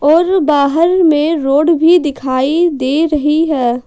और बाहर में रोड भी दिखाई दे रही है।